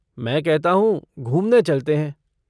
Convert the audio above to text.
मैं कहता हूँ, घूमने चलते हैं।